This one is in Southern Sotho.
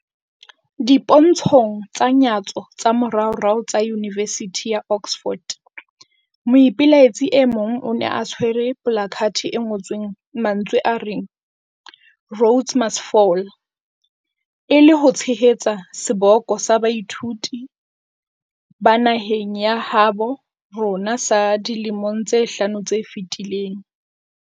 Dipontshong tsa nyatso tsa moraorao tsa yunivesithi ya Oxford, moipelaetsi e mong o ne a tshwere polakathe e ngotsweng mantswe a reng Rhodes must Fall, e le ho tshehetsa seboko sa baithuti ba naheng ya habo rona sa dilemong tse hlano tse fetileng.